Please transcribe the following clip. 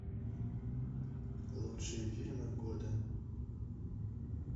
лучшие фильмы года